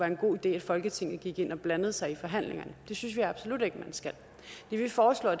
en god idé at folketinget gik ind og blandede sig i forhandlingerne det synes vi absolut ikke man skal det vi foreslår